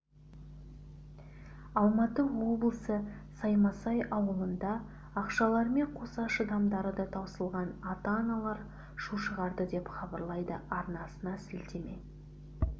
алматы облысы саймасай ауылында ақшаларымен қоса шыдамдары да таусылған ата-аналар шу шығарды деп хабарлайды арнасына сілтеме